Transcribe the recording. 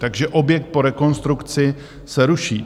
Takže objekt po rekonstrukci se ruší.